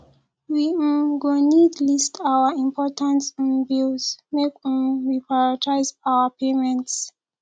we um go need list our important um bills make um we prioritize our payments